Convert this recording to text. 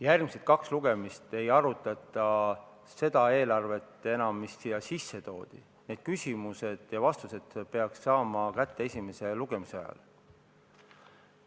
Järgmised kaks lugemist ei arutata enam seda eelarvet, mis siia toodi, need küsimused peaks saama esitada ja vastused peaks saama kätte esimese lugemise ajal.